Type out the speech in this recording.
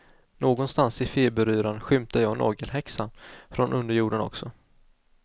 Någonstans i feberyran skymtar jag nagelhäxan från underjorden också.